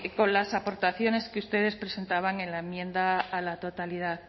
con las aportaciones que ustedes presentaban en la enmienda a la totalidad